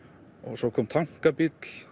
svo kom